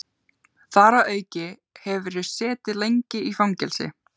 Þar að auki hefurðu setið lengi í fangelsi